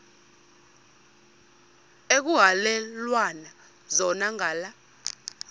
ekuhhalelwana zona ngala